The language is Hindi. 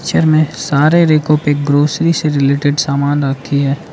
पिक्चर में सारे ग्रोसरी से रिलेटेड सामान आती है।